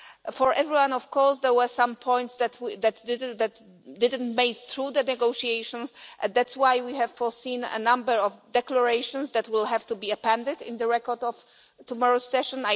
For everyone, of course, there were some points that didn't make it through the negotiations and that is why we have foreseen a number of declarations that will have to be appended in the record of tomorrow's session.